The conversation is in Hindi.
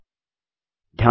Enter ग्रुप चुनें